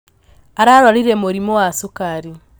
Ararwarire mũrimũ wa sukari.